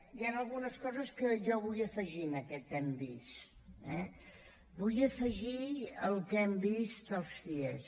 hi han algunes coses que jo vull afegir en aquest hem vist eh vull afegir el que hem vist els cie